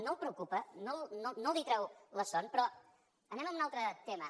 no el preocupa no li treu la son però anem a un altre tema